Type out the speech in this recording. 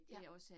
Ja